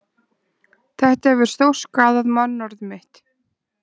Þetta hefur stórskaðað mannorð mitt